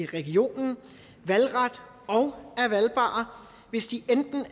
regionen valgret og er valgbare hvis de enten er